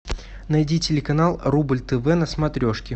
найди телеканал рубль тв на смотрешке